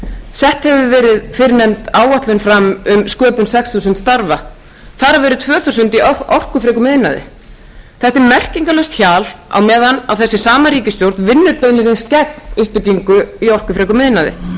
sett hefur verið fyrrnefnd áætlun fram um sköpun sex þúsund starfa þar af eru tvö þúsund í orkufrekum iðnaði þetta er merkingarlaust hjal á meðan þessi sama ríkisstjórn hefur skert uppbyggingu í orkufrekum iðnaði